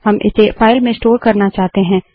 हम इसे फाइल में स्टोर करना चाहते हैं